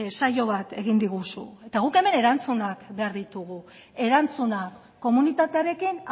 saio bat egin diguzu eta guk hemen erantzunak behar ditugu erantzunak komunitatearekin